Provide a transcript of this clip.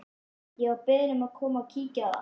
Ég var beðinn um að koma og kíkja á það.